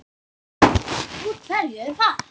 Úr hverju er vatn?